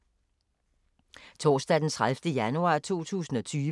Torsdag d. 30. januar 2020